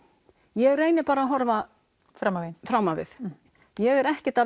ég reyni bara að horfa Fram á veginn fram á við ég er ekkert að